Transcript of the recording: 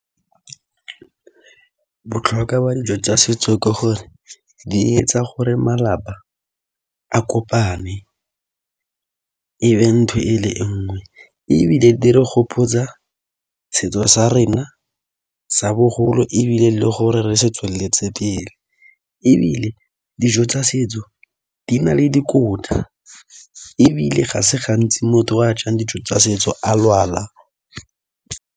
Botlhokwa ba dijo tsa setso ke gore di etsa gore malapa a kopane e be ntho e le nngwe ebile di re gopotsa setso sa rena sa bogolo ebile le gore re se tsweletse pele ebile dijo tsa setso di na le dikotla ebile ga se gantsi motho o a jang dijo tsa setso a lwala.